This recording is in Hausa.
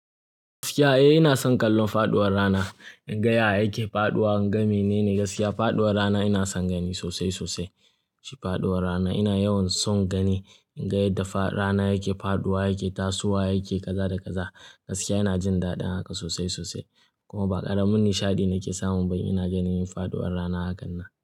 Gaskiya, eh ina son kallon faɗuwar rana. In ga yadda yake faɗuwa ga menene gaskiya. Faɗuwar rana ina son gani sosai sosai. Shi faɗuwar rana ina yawan son gani. In ga yadda rana yake faɗuwa, yake tasowa, yake kaza da kaza gaskiya ina jin daɗin haka sosai sosai. Kuma ba ƙaramin nishaɗi nake samu ba in ina ganin faɗuwar rana hakan nan.